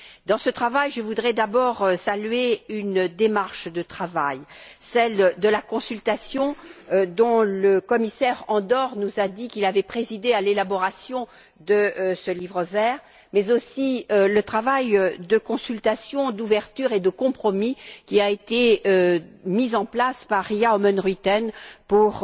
Dans ce travail, je voudrais d'abord saluer une démarche de travail, celle de la consultation dont le commissaire Andor nous a dit qu'elle avait présidé à l'élaboration de ce livre vert, mais aussi le travail de consultation, d'ouverture et de compromis qui a été mis en place par Ria Oomen Ruijten pour